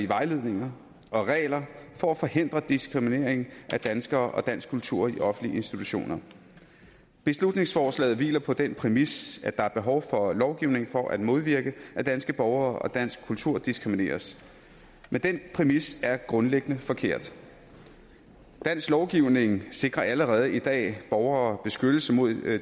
vejledninger og regler for at forhindre diskriminering af danskere og dansk kultur i offentlige institutioner beslutningsforslaget hviler på den præmis at der er behov for lovgivning for at modvirke at danske borgere og dansk kultur diskrimineres men den præmis er grundlæggende forkert dansk lovgivning sikrer allerede i dag borgere beskyttelse mod